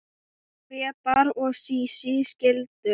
Grétar og Sísí skildu.